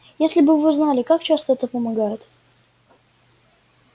если бы вы знали как часто это помогает